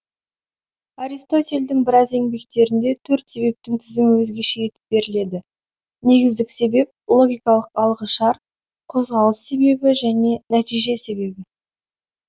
аристотельдің біраз еңбектерінде төрт себептің тізімі өзгеше етіп беріледі негіздік себеп логикалық алғышарт қозғалыс себебі және нәтиже себебі